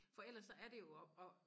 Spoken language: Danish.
For ellers så er det jo og og